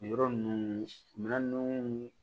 Yɔrɔ ninnu minan ninnu